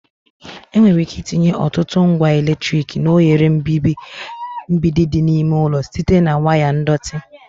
Enwere ike itinye ọtụtụ ngwa eletrik na oghere mgbidi dị n'ime ụlọ site na waya ndọtị